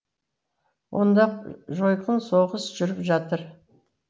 онда жойқын соғыс жүріп жатыр